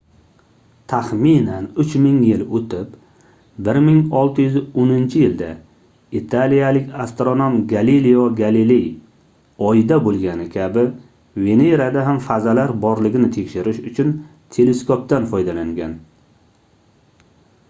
taxminan uch ming yil oʻtib 1610-yilda italiyalik astronom galelio galiley oyda boʻlgani kabi venerada ham fazalar borligini tekshirish uchun teleskopdan foydalangan